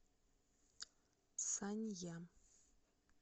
санья